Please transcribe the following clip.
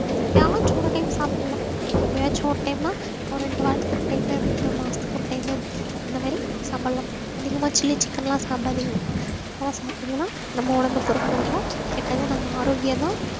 எப்பயாச்சும் ஒரு time சாப்பிடலாம் எப்பயாச்சும் ஒரு time னா ஒரு ரெண்டு வாரத்துக்கு ஒரு time ஒரு மாசத்துக்கு ஒரு time இந்த மாதிரி சாப்பிடலாம் அதிகமா chilly chicken எல்லாம் சாப்பிடாதீங்க அதெல்லாம் சாப்பிட்டீங்கன்னா நம்ம உடம்புக்கு ரொம்ப ரொம்ப கெட்டது நம்ம ஆரோக்கியம்தான்